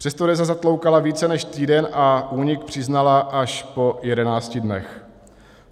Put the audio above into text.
Přesto Deza zatloukala více než týden a únik přiznala až po 11 dnech.